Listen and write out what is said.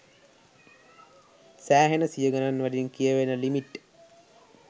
සෑහෙන සිය ගනන් වලින් කියවෙන ලිමිට්.